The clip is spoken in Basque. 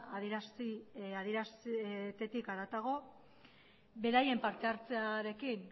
adieraztetik harago beraien parte hartzearekin